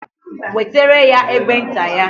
Wetere ya egbe nta ya.